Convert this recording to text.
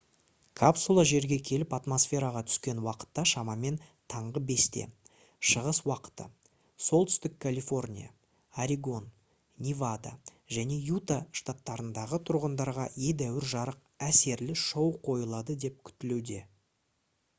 капсула жерге келіп атмосфераға түскен уақытта шамамен таңғы 5-те шығыс уақыты солтүстік калифорния орегон невада және юта штаттарындағы тұрғындарға едәуір жарық әсерлі шоу қойылады деп күтілуде